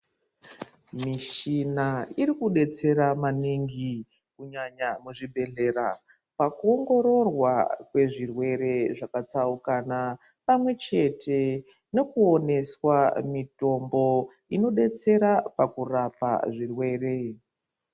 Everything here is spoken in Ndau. Muchini irikudetsera maningi kunyanya muzvibhehlera pakuwongororwa kwezvirwere zvakatsaukana pamwechete nekuoneswa mutombo inodetsera pakurapa zvirwere .